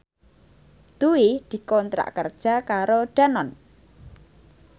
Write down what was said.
Dwi dikontrak kerja karo Danone